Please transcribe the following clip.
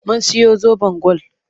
Mun siyo zoben gwal.